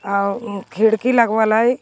औ इ खिड़की लगवल हइ।